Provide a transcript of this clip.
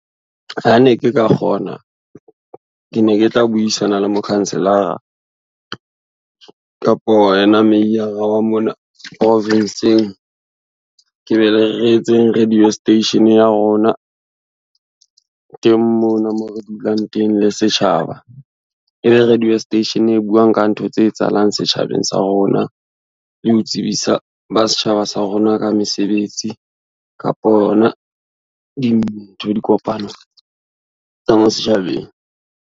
Ha ne ke ka kgona, ke ne ke tla buisana le mokhanselara kapo yena meiyara wa mona province-ng, re etseng radio station ya rona, teng mona mo re dulang teng le setjhaba. E be radio station e buang ka ntho tse etsahalang setjhabeng sa rona le ho tsebisa ba setjhaba sa rona ka mesebetsi kapo yona dintho, dikopano tsa mo setjhabeng.